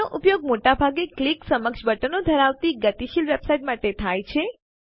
તેનો ઉપયોગ મોટા ભાગે ક્લિક સક્ષમ બટનો ધરાવતી ગતિશીલ વેબસાઈટ માટે થાય છે